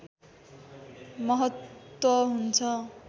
महत्त्व हुन्छ